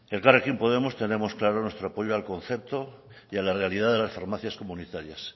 elkarrekin podemos tenemos claro nuestro apoyo al concepto y a la realidad de las farmacias comunitarias